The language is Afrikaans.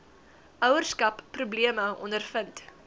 ouerskap probleme ondervind